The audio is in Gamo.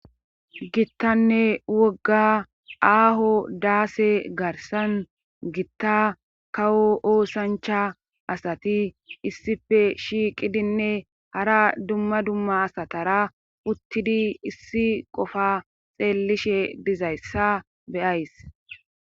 gittanne wogga aaho daase garsan gitta kawo oosancha asati issife shiiqidinne hara dumma dumma asatara uttidi issi qofa xeellishe dizayssa beyays